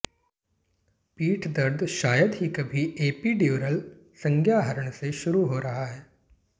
पीठ दर्द शायद ही कभी एपीड्यूरल संज्ञाहरण से शुरू हो रहा है